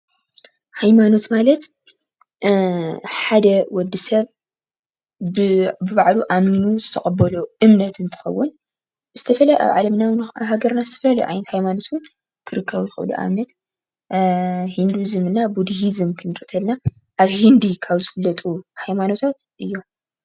ሃይማኖት ማለት ሓደ ወዲሰብ ብባዕሉ ኣሚኑ ዝተቀቦሎ እምነት እንትከውን ኣብ ዓለም ይኩን ኣብ ሃገርና ዝተፈላለዩ ዓይነት ሃይማኖታት ክርከቡ ይክእሉ ።ንኣብነት፦ ሂንዲዝም ፣ ቡዲሂዝም ክንሪኢ ከለና፣ ኣብ ህንዲ ካብ ዝፈለጡ ሃይማኖት ሓደ እዮም።